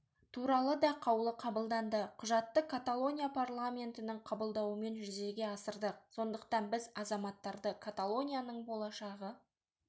туралы да қаулы қабылданды құжатты каталония парламентінің қабылдауымен жүзеге асырдық сондықтан біз азаматтарды каталонияның болашағы